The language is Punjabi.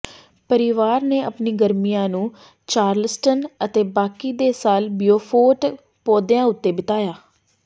ਪਰਿਵਾਰ ਨੇ ਆਪਣੇ ਗਰਮੀਆਂ ਨੂੰ ਚਾਰਲਸਟਨ ਅਤੇ ਬਾਕੀ ਦੇ ਸਾਲ ਬਿਉਫੋਰਟ ਪੌਦਿਆਂ ਉੱਤੇ ਬਿਤਾਇਆ